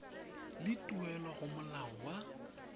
le tuelo go molao wa